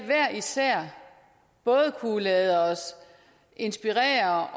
hver især både kunne lade os inspirere